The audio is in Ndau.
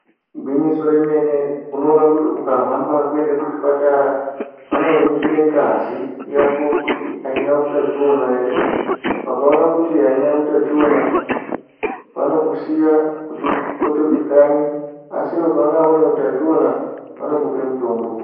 Iginyiso remene unoona kuti ukahamba kuende kuzvipatara vanoringire ngazi yako kuti haina utachiona ere. Vakaona kuti haina utachiona vanokusiya kuti ukotoke kanyi asi vakaona une utachivana vanokupe mutombo.